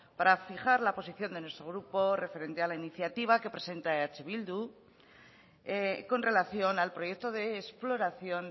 para fijar la posición de nuestro grupo referente a la iniciativa que presenta eh bildu con relación al proyecto de exploración